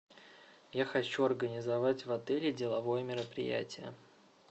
я хочу организовать в отеле деловое мероприятие